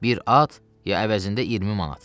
bir at ya əvəzində 20 manat.